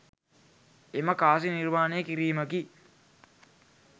එම කාසි නිර්මාණය කිරීමකි.